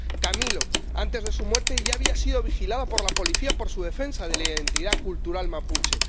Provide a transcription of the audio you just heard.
Camilo, antes de su muerte, ya había sido vigilado por la policía por su defensa de la identidad cultural mapuche.